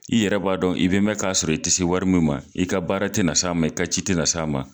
I yɛrɛ b'a dɔn i be mɛ k'a sɔrɔ i te se wari min ma i ka baara te na s' a ma i ka ci te na s'a ma